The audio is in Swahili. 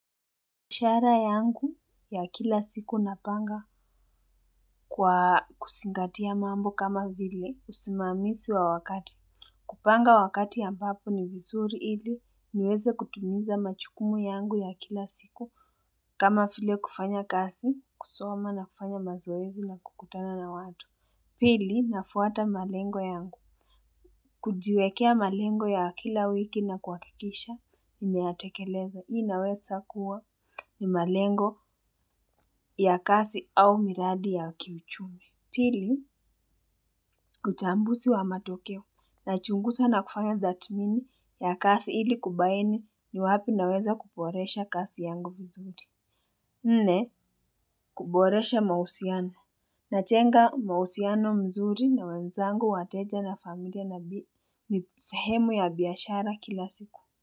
Mishahara yangu ya kila siku napanga kwa kuzingatia mambo kama vile usimamisi wa wakati. Kupanga wakati ambapo ni vizuri ili niweze kutimiza majukumu yangu ya kila siku kama vile kufanya kasi kusoma na kufanya mazoezi na kukutana na watu. Pili nafuata malengo yangu. Kujiwekea malengo ya kila wiki na kuhakikisha, mimeyatekeleza. Hii inaweza kuwa ni malengo ya kazi au miradi ya kiuchumi. Pili, uchambuzi wa matokeo. Nachunguza na kufanya tathmini ya kazi ili kubaini ni wapi naweza kuboresha kazi yangu vizuri. Nne, kuboresha mahusiana. Najenga mahusiano mzuri na wenzangu wateja na familia na ni sahemu ya biashara kila siku. Kwa hiyo.